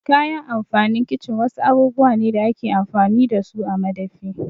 Kayan amfanin kicin wasu abubuwa ne da ake amfani dasu a madafi.